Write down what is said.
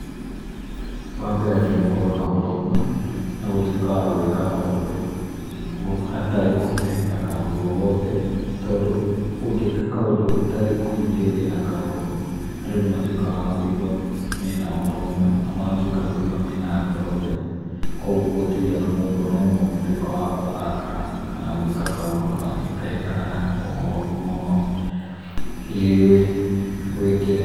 Wambere nĩgũkorwo na ũrũmwe na gũtuĩka wagwĩka maũndũ hatarĩ kũhithahitha kaũndũ ogothe tondũ ũngĩka kaũndũ hatarĩ kũhithĩrĩra, andũ nĩmatuĩkaga akũigua mena ũrũmwe na magatũĩka ũigua mena ngoro theru. Kwogwo gũtirĩ ona mũndũ ũmwe angĩtuĩkwa wa kũrakara kana gwĩka kaũndũ kangĩ kega kana koru mũno gwĩkĩrĩ.